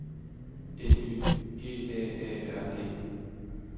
N Y G A A R D